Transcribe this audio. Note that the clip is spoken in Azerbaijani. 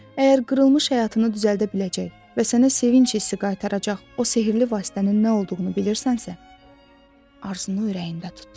Əgər qırılmış həyatını düzəldə biləcək və sənə sevinc hissi qaytaracaq o sehirli vasitənin nə olduğunu bilirsənsə, arzunu ürəyində tut.